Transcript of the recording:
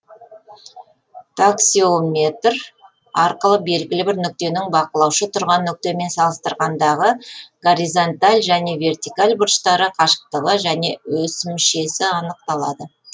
таксеометр арқылы белгілі бір нүктенің бақылаушы тұрған нүктемен салыстырғандағы горизонталь және вертикаль бұрыштары қашықтығы және өсімшесі анықталады